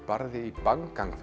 barði í Bang gang